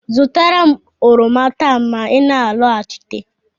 Zụtara m oroma taa ma ị na-alọghachite!